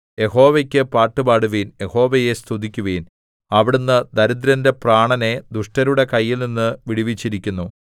യഹോവയ്ക്കു പാട്ടുപാടുവിൻ യഹോവയെ സ്തുതിക്കുവിൻ അവിടുന്ന് ദരിദ്രന്റെ പ്രാണനെ ദുഷ്ടന്മാരുടെ കൈയിൽനിന്ന് വിടുവിച്ചിരിക്കുന്നു